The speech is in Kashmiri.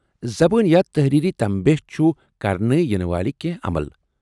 زبٲنۍ یا تحریری تمبہد چھُ كرنہٕ ینہٕ والکہِ عمل ۔